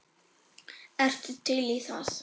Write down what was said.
Ertu til í það?